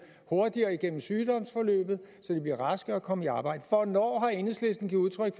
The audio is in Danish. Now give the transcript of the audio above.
hurtigere igennem sygdomsforløbet så de bliver raske og kan komme i arbejde hvornår har enhedslisten givet udtryk